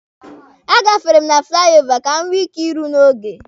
A gafere m na fụlai ova ka m nwee ike iru n'oge.